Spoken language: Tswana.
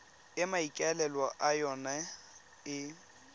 e maikaelelo a yona e